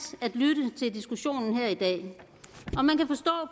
at lytte til diskussionen her i dag